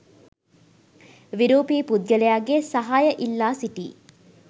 විරූපී පුද්ගලයාගේ සහාය ඉල්ලා සිටී